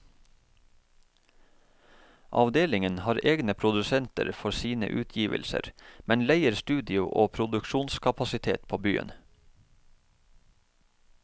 Avdelingen har egne produsenter for sine utgivelser, men leier studio og produksjonskapasitet på byen.